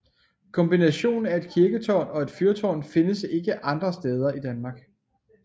Kombinationen af et kirketårn og et fyrtårn findes ikke andre steder i Danmark